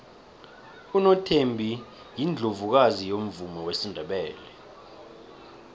unothembi yiundlovukazi yomvumo wesindebele